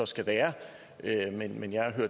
skal være men jeg har